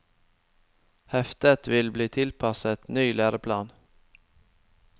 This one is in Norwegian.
Heftet vil bli tilpasset ny læreplan.